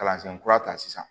Kalansen kura ta sisan